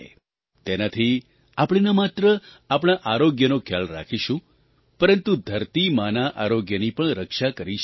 તેનાથી આપણે ન માત્ર આપણા આરોગ્યનો ખ્યાલ રાખીશું પરંતુ ધરતી માના આરોગ્યની પણ રક્ષા કરી શકીશું